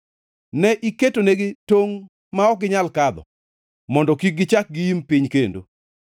Ne iketonegi tongʼ ma ok ginyal kadho; mondo kik gichak giim piny kendo.